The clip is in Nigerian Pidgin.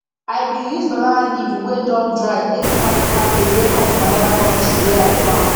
i been use banana leaf wey don dry take cover the cabbage wey come from another country wey i farm